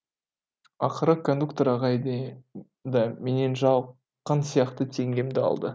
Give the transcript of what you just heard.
ақыры кондуктор ағай да менен жалыққан сияқты теңгемді алды